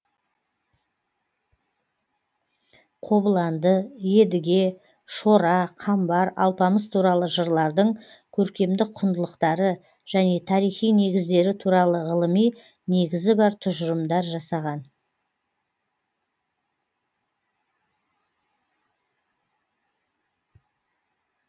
қобыланды едіге шора қамбар алпамыс туралы жырлардың көркемдік құндылықтары және тарихи негіздері туралы ғылыми негізі бар тұжырымдар жасаған